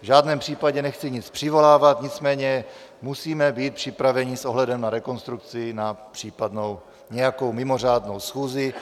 V žádném případě nechci nic přivolávat, nicméně musíme být připraveni s ohledem na rekonstrukci na případnou nějakou mimořádnou schůzi,